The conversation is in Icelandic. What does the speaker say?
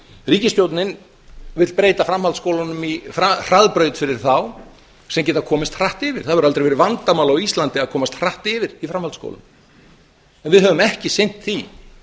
ríkisstjórnin vill breyta framhaldsskólunum í hraðbraut fyrir þá sem geta komist hratt yfir það hefur aldrei verið vandamál á íslandi að komast hratt yfir í framhaldsskólum en við höfum ekki sinnt því